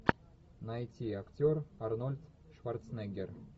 найти актер арнольд шварценеггер